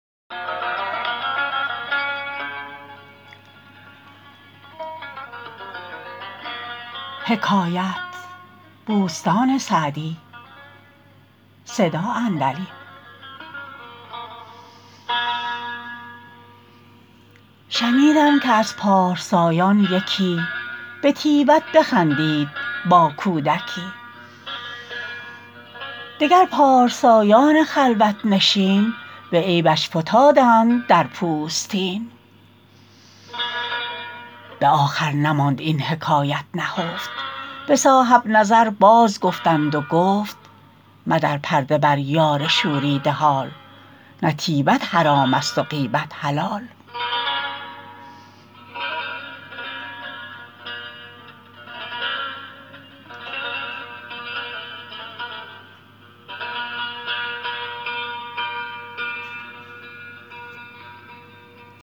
شنیدم که از پارسایان یکی به طیبت بخندید با کودکی دگر پارسایان خلوت نشین به عیبش فتادند در پوستین به آخر نماند این حکایت نهفت به صاحب نظر باز گفتند و گفت مدر پرده بر یار شوریده حال نه طیبت حرام است و غیبت حلال